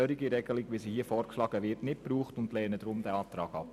Deshalb lehnen wir den Antrag ab.